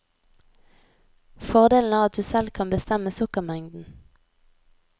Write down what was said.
Fordelen er at du selv kan bestemme sukkermengden.